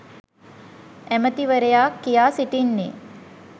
ඇමතිවරයා කියා සිටින්නේ